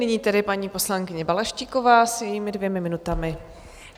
Nyní tedy paní poslankyně Balaštíková s jejími dvěma minutami.